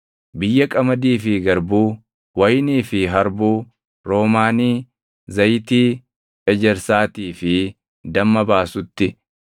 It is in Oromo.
Biyya qamadii fi garbuu, wayinii fi harbuu, roomaanii, zayitii ejersaatii fi damma baasutti,